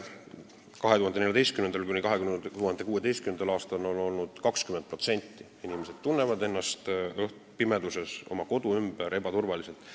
2014.–2016. aastal oli see 20%, nii paljud inimesed tundsid ennast pimeduses oma kodu ümbruses ebaturvaliselt.